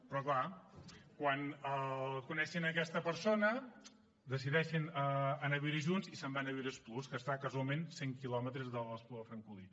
però clar quan coneix aquesta persona decideixen anar a viure junts i se’n van a viure a esplús que està casualment a cent quilometres de l’espluga de francolí